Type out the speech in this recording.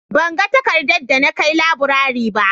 Ban ga takarda da na kai laburare ba